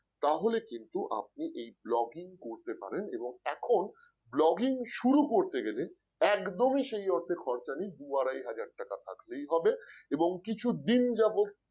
তাহলে কিন্তু আপনি এই log in করতে পারেন এবং এখন login শুরু করতে গেলে একদমই সেই অর্থের খরচা নেই দু আড়াই হাজার টাকা থাকলেই হবে এবং কিছুদিন যাবত